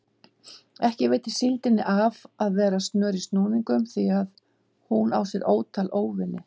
Ekki veitir síldinni af að vera snör í snúningum því hún á sér ótal óvini.